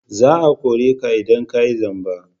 Za a kore ka idan ka yi zamba!